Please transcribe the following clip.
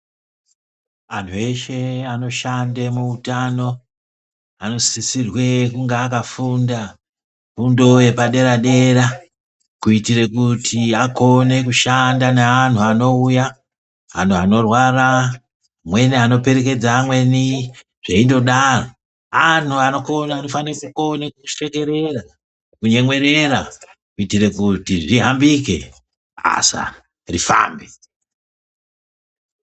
Anhu eshe anoshande muutano anosisirwe kunge akafunda fundo yepaderadera kuitire kuti akone kushanda neanhu anouya ,anhu anorwara ,amweni anoperekedza amweni zveindodaro ,anhu anokone anofana kukone kushekerera ,kunyemwerera kuitire kuti zvihambike basa rifambe